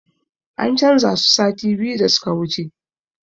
An canza su sati biyu da suka wuce